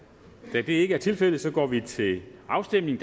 da det ikke er tilfældet går vi til afstemning